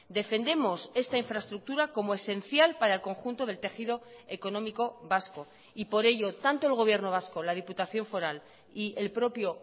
defendemos esta infraestructura como esencial para el conjunto del tejido económico vasco y por ello tanto el gobierno vasco la diputación foral y el propio